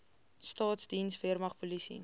staatsdiens weermag polisie